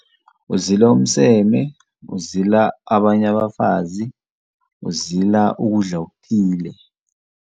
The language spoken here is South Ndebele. Kuzilwa umseme, kuzila abanye abafazi, kuzila ukudla okuthile.